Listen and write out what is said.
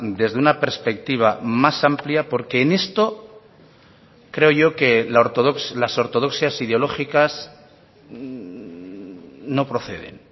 desde una perspectiva más amplia porque en esto creo yo que las ortodoxias ideológicas no proceden